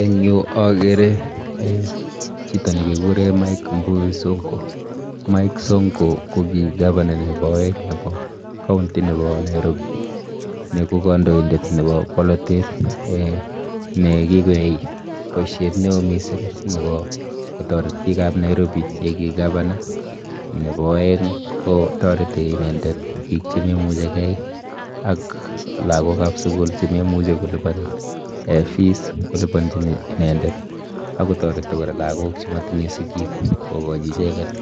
En yu, agere chito ne keguren Mike Mbuvi Sonko. Mike sonko, kogi governor nebo aeng' nebo kaunti nebo Nairobi. Ni ko kandoidet nebo borotet, nekikoyai boisiet neo mising, nebo kotoret biikab Nairobi ye kii gavana. Nebo aeng', kotoreti inendet biik che memuchikey, ak lagokab sugul che memuchi kolipan fees, koliponchin inendet. Akotoreti kora lagok che matinye sigiik, kokachi icheket